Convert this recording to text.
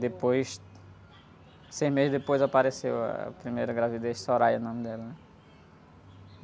Depois, seis meses depois, apareceu a primeira gravidez, o nome dela, né?